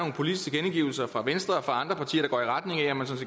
så er fra venstre og fra andre partier